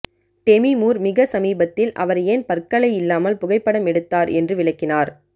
Demi Moore மிக சமீபத்தில் அவர் ஏன் பற்களை இல்லாமல் புகைப்படம் எடுத்தார் என்று விளக்கினார்